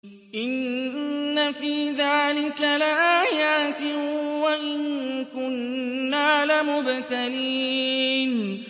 إِنَّ فِي ذَٰلِكَ لَآيَاتٍ وَإِن كُنَّا لَمُبْتَلِينَ